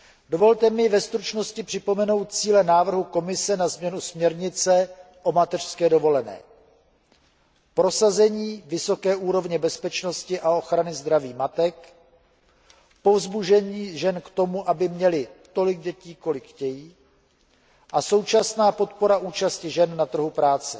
Dovolte mi ve stručnosti připomenout cíle návrhu Komise na změnu směrnice o mateřské dovolené prosazení vysoké úrovně bezpečnosti a ochrany zdraví matek, povzbuzení žen k tomu, aby měly tolik dětí, kolik chtějí, a současná podpora účasti žen na trhu práce.